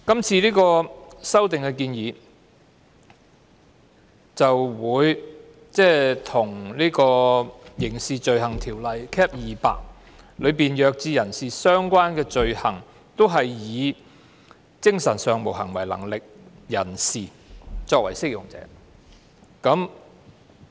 這項修訂建議將《刑事罪行條例》中與弱智人士相關的罪行，同樣是以精神上無行為能力人士作為適用者。